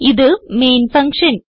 ഇത് main function